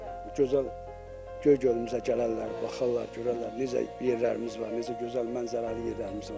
Gözəl Göygölümüzə gələrlər, baxarlar, görərlər necə yerlərimiz var, necə gözəl mənzərəli yerlərimiz var.